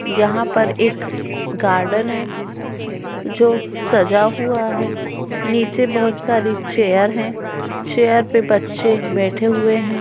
यहाँ पर एक गार्डन है जो सजा हुआ है नीचे बहोत सारी चेयर है चेयर पे बच्चे बैठे हुए हैं।